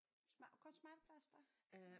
Smart kun smartplaster?